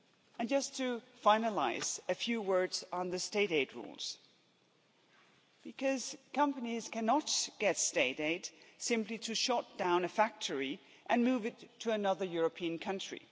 And just to finalise, a few words on the state aid rules, because companies cannot get state aid simply to shut down a factory and move it to another European country.